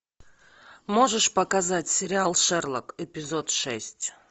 можешь показать сериал шерлок эпизод шесть